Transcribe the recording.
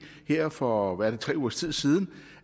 her for tre ugers tid siden